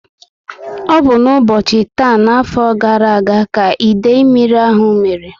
Ọ bu n'ubochi taa n'afọ gara aga, ka idei mmírí ahụ mmere